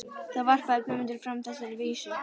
Þá varpaði Guðmundur fram þessari vísu: